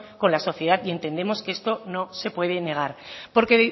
con la sociedad y entendemos que esto no se puede negar porque